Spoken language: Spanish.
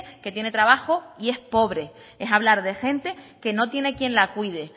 que tiene trabajo y es pobre es hablar de gente que no tiene quién la cuide